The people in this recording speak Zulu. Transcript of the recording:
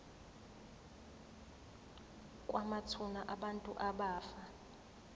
kwamathuna abantu abafa